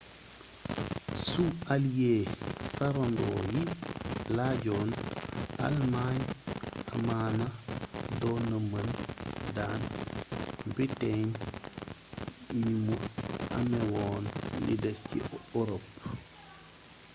su allies farrandooyi lajjon almañ amaana donna mën daan britain ni mu améwoon li dés ci ërop